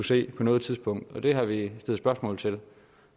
se på noget tidspunkt og det har vi stillet spørgsmål til